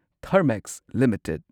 Thermax limited